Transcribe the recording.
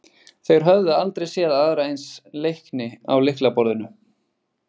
Þeir höfðu aldrei séð aðra eins leikni á lyklaborðinu.